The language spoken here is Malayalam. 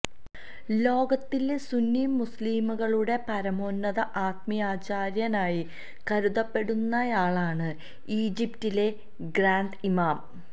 ലോകത്തിലെ സുന്നി മുസ്ലീങ്ങളുടെ പരമോന്നത ആത്മീയാചാര്യനായി കരുതപ്പെടുന്നയാളാണ് ഈജിപ്തിലെ ഗ്രാന്ഡ് ഇമാം